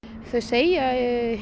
þau segja